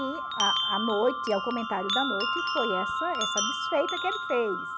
E a a noite, é o comentário da noite, foi essa essa desfeita que ele fez.